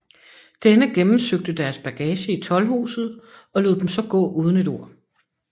Denne gennemsøgte deres bagage i toldhuset og lod dem så gå uden et ord